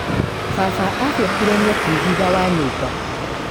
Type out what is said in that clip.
Baba abiekire nyeki thutha wa nyũmba.